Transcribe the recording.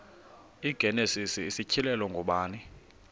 igenesis isityhilelo ngubani